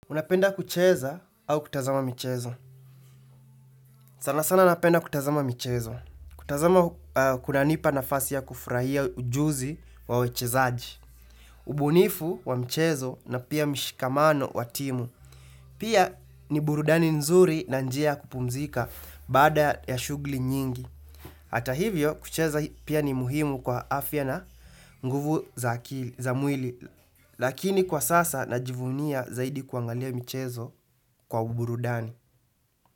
Unapenda kucheza au kutazama michezo? Sana sana napenda kutazama michezo. Kutazama kunanipa nafasi ya kufurahia ujuzi wa wachezaji. Ubunifu wa mchezo na pia mishikamano wa timu. Pia ni burudani nzuri na njia ya kupumzika baada ya shughuli nyingi. Hata hivyo kucheza pia ni muhimu kwa afya na nguvu za mwili. Lakini kwa sasa najivunia zaidi kuangalia michezo kwa uburudani.